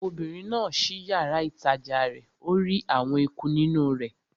Obìnrin náà ṣí yàrá-ìtajà rẹ̀ ó rí àwọn eku nínú rẹ̀